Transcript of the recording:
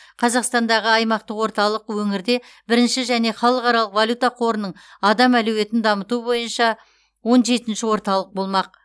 қазақстандағы аймақтық орталық өңірде бірінші және халықаралық валюта қорының адам әлеуетін дамыту бойынша он жетінші орталық болмақ